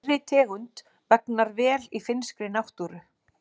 Þeirri tegund vegnar vel í finnskri náttúru.